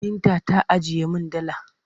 Binta ta ajiye min dala.